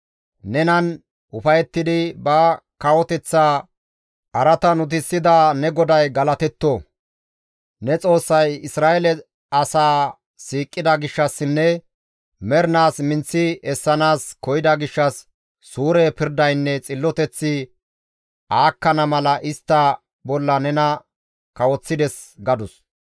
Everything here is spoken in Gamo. Nenan ufayettidi ba kawoteththa araatan utisida ne GODAY galatetto! Ne Xoossay Isra7eele asaa siiqida gishshassinne mernaas minththi essanaas koyida gishshas suure pirdaynne xilloteththi aakkana mala istta bolla nena kawoththides» gadus.